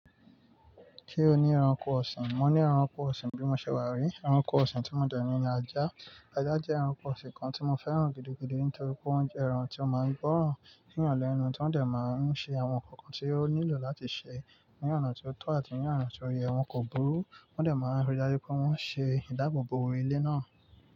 Ki o ni ẹranko ọsin, mo ni ẹranko ọsin bi mo ṣe wa ri. Ẹranko ọsin ti mo dọ ni ajá. Ajá jẹ́ ẹranko ọsin kan tí mo fẹ́ràn gidigidi nítorí pé ọún jẹ́ ẹran tí ó máa ń gbóòórùn níyanlénu tó dè máa ń ṣe àwọn nkankan tí ó nílò láti ṣe ní ọ̀nà tí ó tọ́ àti ní ọ̀nà tí ó yẹ wọn kò burú. Wọn dè máa ń rí dájú pé wọ́n ṣe ìdáàbò bo orí ilé náà.